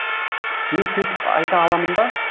мен сөйтіп айта аламын ба